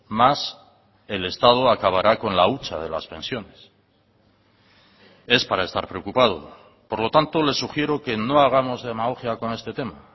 más el estado acabará con la hucha de las pensiones es para estar preocupado por lo tanto le sugiero que no hagamos demagogia con este tema